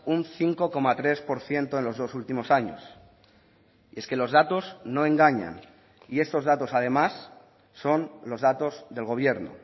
un cinco coma tres por ciento en los dos últimos años es que los datos no engañan y estos datos además son los datos del gobierno